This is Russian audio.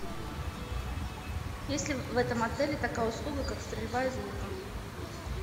есть ли в этом отеле такая услуга как стрельба из лука